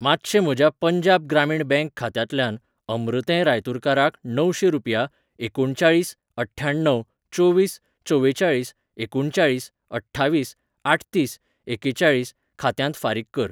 मातशें म्हज्या पंजाब ग्रामीण बँक खात्यांतल्यान अमृतें रायतुरकाराक णवशें रुपया एकुणचाळीस अठ्ठ्याण्णव चोवीस चवेचाळीस एकुणचाळीस अठ्ठावीस आठतीस एकेचाळीस खात्यांत फारीक कर. .